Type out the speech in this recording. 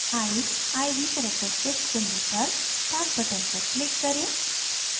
eyes: iv characteristics window पर start button पर click करें